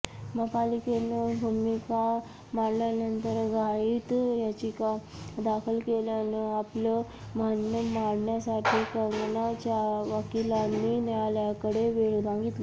महापालिकेनं भूमिका मांडल्यानंतर घाईत याचिका दाखल केल्यानं आपलं म्हणणं मांडण्यासाठी कंगनाच्या वकिलांनी न्यायालयाकडे वेळ मागितला